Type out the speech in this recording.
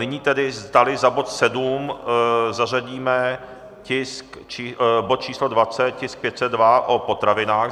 Nyní tedy, zdali za bod 7 zařadíme bod číslo 20, tisk 502, o potravinách.